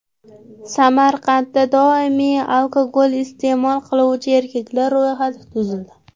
Samarqandda doimiy alkogol iste’mol qiluvchi erkaklar ro‘yxati tuzildi.